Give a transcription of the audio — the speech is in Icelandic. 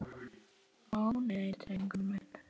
Ó, nei, drengur minn.